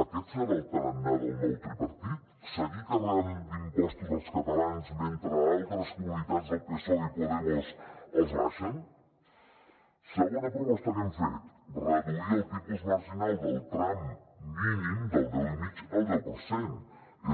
aquest serà el tarannà del nou tripartit seguir carregant d’impostos els catalans mentre altres comunitats del psoe i podemos els abaixen segona proposta que hem fet reduir el tipus marginal del tram mínim del deu i mig al deu per cent